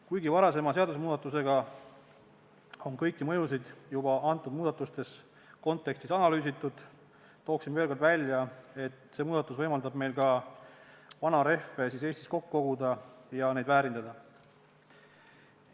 Kuigi varasema seadusmuudatusega on kõiki mõjusid juba nende muudatuste kontekstis analüüsitud, tooksin veel kord välja, et see muudatus võimaldab meil ka vanarehve Eestis kokku koguda ja neid väärindada.